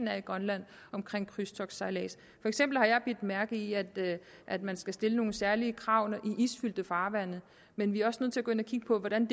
er i grønland omkring krydstogtssejlads for eksempel har jeg bidt mærke i at at man skal stille nogle særlige krav i isfyldte farvande men vi er også nødt til at gå ind og kigge på hvordan